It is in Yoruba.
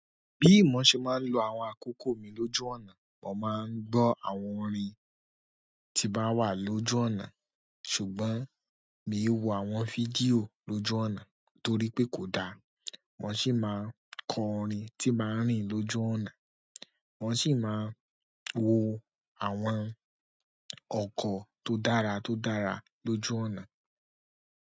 Bí mo ṣe máa ń lo àwọn akókò mi lójú ọ̀nà, mo máa ń gbọ́ àwọn orin tí bá wà lójú ọ̀nà, ṣùgbọ́n mi ò wo àwọn fídíò lójú ọ̀nà torí pé kò dáa. Mo sì máa ń kọ orin tí màá rìn lójú ọ̀nà. Mo sì máa ń wo àwọn ọkọ̀ tó dára tó dára lójú ọ̀nà.